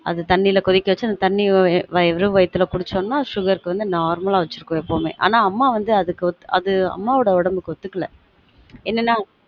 அது தண்ணில கொதிக்க வச்சு அந்த தண்ணிய வெறும் வயித்துல குடிச்சம்னா sugar க்கு வந்து normal வச்சுருக்கும் எப்பவுமே ஆனா அம்மா வந்து அதுக்கு ஒத்து அது அம்மா ஒட உடம்புக்கு ஒத்துக்கல